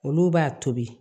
Olu b'a tobi